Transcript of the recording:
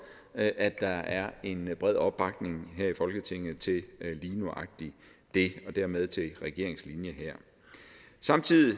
at der er en meget bred opbakning her i folketinget til lige nøjagtig det og dermed til regeringens linje her samtidig